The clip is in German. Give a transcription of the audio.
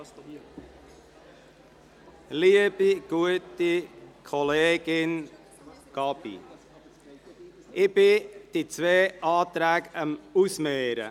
(Liebe, gute Kollegin Gabi, ich bin daran, die beiden Anträge auszumehren.